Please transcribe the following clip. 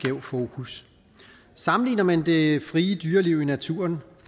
skæv fokus sammenligner man det frie dyreliv i naturen